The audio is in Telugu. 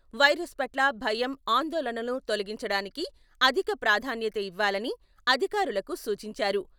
వైరస్ పట్ల భయం, ఆందోళనలను తొలగించడానికి అధిక ప్రాధాన్యత ఇవ్వాలని అధికారులకు సూచించారు.